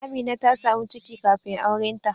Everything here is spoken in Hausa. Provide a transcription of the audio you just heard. Amina ta samu ciki kafin aurenta